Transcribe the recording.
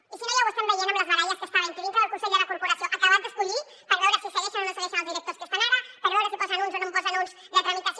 i si no ja ho estem veient amb les baralles que està havent hi dintre del consell de la corporació acabat d’escollir per veure si segueixen o no segueixen els directors que hi ha ara per veure si en posen uns o no en posen uns de tramitació